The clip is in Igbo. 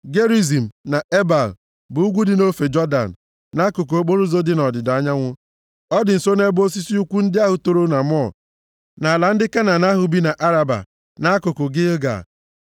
Gerizim na Ebal bụ ugwu dị nʼofe Jọdan, nʼakụkụ okporoụzọ dị nʼọdịda anyanwụ. Ọ dị nso nʼebe osisi ukwu ndị ahụ toro na More, nʼala ndị Kenan ahụ bi nʼAraba, nʼakụkụ Gilgal.